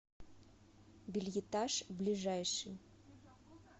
бельетаж ближайший